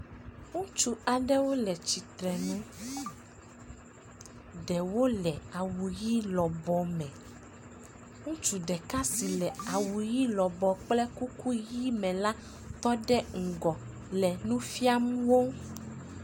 Ŋutsu aɖewo le tsitre nu. ɖewo le awu ʋi lɔbɔ me. Ŋutsu ɖeka si le awu ʋi lɔbɔ kple kuku ʋi me la, tɔ ɖe ŋgɔ le nu fiam wo.